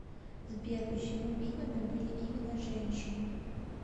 сбер почему ведьмами были именно женщины